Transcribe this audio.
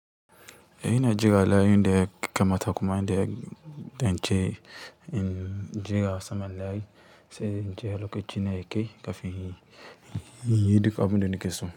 Eh ina jira layin da yakamata kuma da ya ɗance in jira saman layi sai in je lokacin da yake kafin inyi duk abun da nakeso.